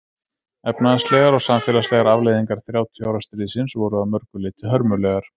Efnahagslegar og samfélagslegar afleiðingar þrjátíu ára stríðsins voru að mörgu leyti hörmulegar.